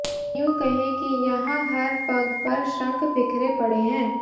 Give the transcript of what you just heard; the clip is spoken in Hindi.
यूं कहें कि यहां हर पग पर शंख बिखरे पड़े हैं